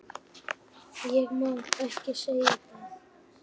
Ég má ekki segja það